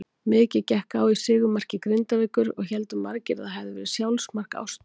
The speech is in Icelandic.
Mikið gekk á í sigurmarki Grindavíkur og héldu margir að það hafiði verið sjálfsmark Ástu.